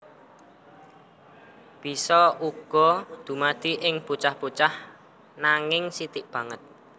Bisa uga dumadi ing bocah bocah nanging sithik banget